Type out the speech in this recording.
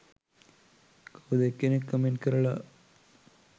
කවුද එක්කෙනෙක් කමෙන්ට් කරලා